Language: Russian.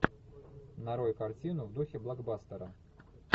нарой картину в духе блокбастера